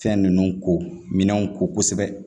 Fɛn ninnu ko minɛnw ko kosɛbɛ